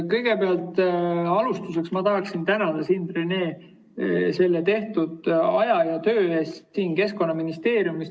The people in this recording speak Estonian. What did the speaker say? Kõigepealt tahaksin alustuseks tänada sind, Rene, kulutatud aja ja tehtud töö eest Keskkonnaministeeriumis.